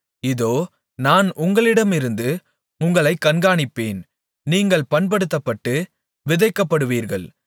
இதோ நான் உங்களிடமிருந்து உங்களைக் கண்காணிப்பேன் நீங்கள் பண்படுத்தப்பட்டு விதைக்கப்படுவீர்கள்